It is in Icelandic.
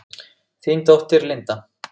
Þín dóttir, Linda.